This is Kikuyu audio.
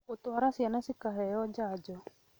Gũtwara ciana cikaheo njanjo